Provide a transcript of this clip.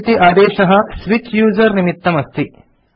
सु इति आदेशः स्विच यूजर निमित्तम् अस्ति